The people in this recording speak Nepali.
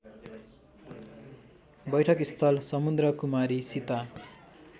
बैठकस्थल समुद्रकुमारी सीता